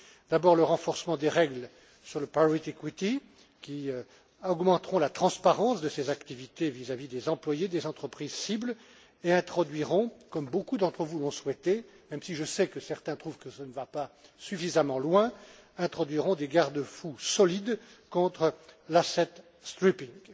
D'abord, le renforcement des règles sur le private equity qui augmenteront la transparence de ces activités vis à vis des employés des entreprises cibles et introduiront comme beaucoup d'entre vous l'ont souhaité, même si je sais que certains trouvent que ça ne va pas suffisamment loin des garde fous solides contre l'asset stripping.